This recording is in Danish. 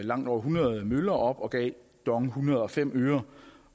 langt over hundrede møller op og gav dong en hundrede og fem øre